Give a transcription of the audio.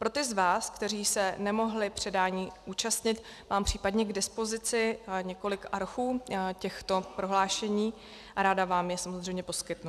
Pro ty z vás, kteří se nemohli předání účastnit, mám případně k dispozici několik archů těchto prohlášení a ráda vám je samozřejmě poskytnu.